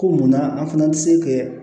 Ko munna an fana tɛ se kɛ